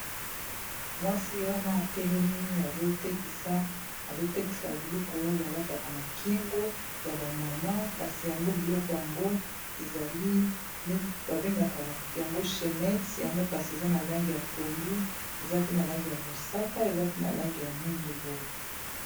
Mwasi wana atelemi azotekisa biloko oyo balataka na kingo ya ba mama kasi yango biloko yango ezali babengaka yango chainette yango kasi eza na langi ya pondu eza pe na langi ya mosaka eza pe na langi ya mwindu boye.